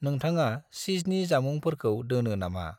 नोंथाङा चीजनि जामुंफोरखौ दोनो नामा?